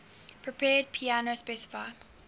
prepared piano specify